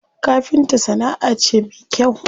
Kafinta sana'a ce me kyau.